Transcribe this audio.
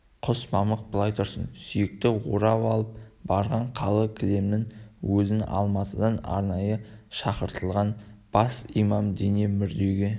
құс мамық былай тұрсын сүйекті орап алып барған қалы кілемнің өзін алматыдан арнайы шақыртылған бас имам дене мүрдеге